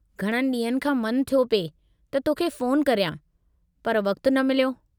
घणनि ॾींहनि खां मन थियो पिए त तोखे फ़ोन करियां, पर वक़्तु न मिलियो।